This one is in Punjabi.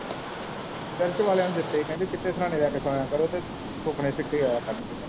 ਪ੍ਰੈਸ ਵਾਲਿਆਂ ਨੇ ਦਿੱਤੇ ਹੀ ਕਹਿੰਦੇ ਚਿੱਟੇ ਸਿਰਾਹਣੇ ਲੈ ਕੇ ਸੋਇਆਂ ਕਰੋ ਤੇ ਸੁਪਨੇ ਸਿੱਧੇ ਆਇਆ ਕਰਨਗੇ।